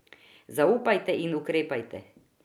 Zaupajte in ukrepajte.